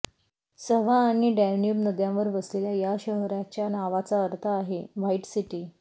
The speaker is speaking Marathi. सवा आणि डॅन्यूब नद्यांवर वसलेल्या या शहराच्या नावाचा अर्थ आहे व्हाईट सिटी